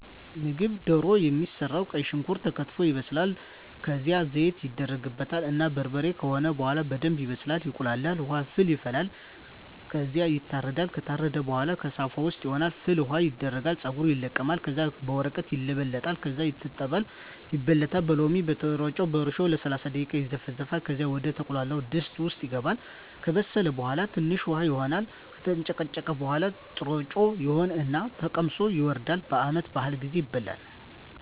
ምግብ ደሮ የሚሰራዉ ቀይ ሽንኩርት ተከትፎ ይበስላል ከዝያም ዘይት ይደረግበታል እና በርበሬ ከሆነ በሆላ በደንብ ይበስላል ይቁላላል። ዉሀ ፍል ይፈላል ከዝያ ይታረዳል። ከታረደ በሆላ ከሳፋ ዉስጥ ይሆን እና ፍል ዉሀዉ ይደረጋል ፀጉሩ ይለቀማል ከዚያ በወረቀት ይለበለጣል ከዚያ ይታጠባል ይበለታል በሎሚ፣ በጥሮጮ፣ በእርሾ ለሰላሳ ደቂቃ ይዘፈዘፋል ከዚያ ወደ ተቁላላዉ ድስት ዉስጥ ይገባል። ከበሰለ በሆላ ትንሽ ዉሀ ይሆን እና ከተንጨቀጨቀ በሆላ ጥሮጮ ይሆን እና ተቀምሶ ይወርዳል። በዓመት በአል ጊዜ ይበላል።